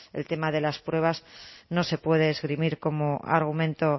el tema de las pruebas no se puede esgrimir como argumento